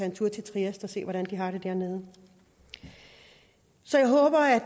en tur til trieste og se hvordan de har det dernede så jeg håber at